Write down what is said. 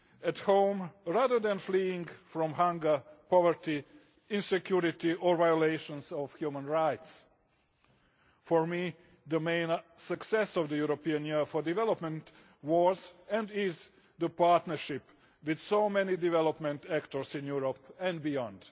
at home, rather than fleeing from hunger, poverty, insecurity or violations of human rights. For me the main success of the European Year for Development was and is the partnership with so many development actors in Europe and beyond.